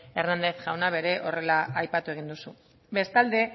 hernández jaunak ere horrela aipatu egin duzu bestalde